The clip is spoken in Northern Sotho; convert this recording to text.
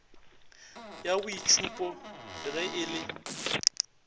ya boitšhupo ge e le